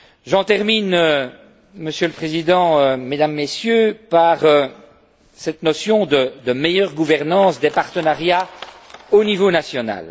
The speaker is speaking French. Je termine, Monsieur le Président, mesdames et messieurs, par cette notion de meilleure gouvernance des partenariats au niveau national.